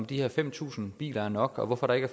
de her fem tusind biler er nok og hvorfor der ikke